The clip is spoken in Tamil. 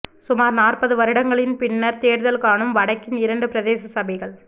சுமார் நாற்பது வருடங்களின் பின்னர் தேர்தல் காணும் வடக்கின் இரண்டு பிரதேச சபைகள்